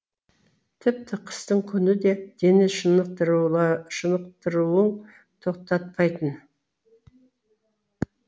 тіпті қыстың күні де дене шынықтыруын тоқтатпайтын